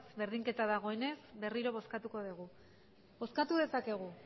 berdinketa dagoenez berriro bozkatuko dugu bozkatu dezakegu